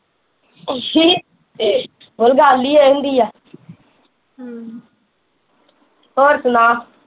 ਅੱਛਾ ਹੋਰ ਗਲ ਈ ਏਹ ਹੁੰਦੀ ਆ ਹਮ ਹੋਰ ਸੁਣਾ